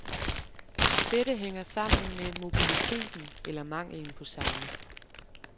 Dette hænger sammen med mobiliteten, eller mangelen på samme.